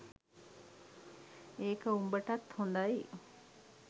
ඒක උඹටත් හොදයි